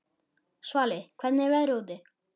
Svali, hvernig er veðrið úti?